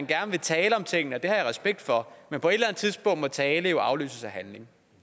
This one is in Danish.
gerne tale om tingene det har jeg respekt for men på et eller andet tidspunkt må tale jo afløses af handling